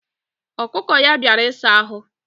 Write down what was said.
Okuko ya biara isa ahu.